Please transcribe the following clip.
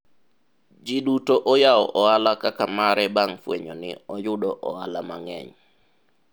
ji duto oyawo ohala kaka mare bang' fwenyo ni oyudo ohala mang'eny